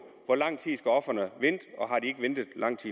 hvor lang tid skal ofrene vente og har de ikke ventet lang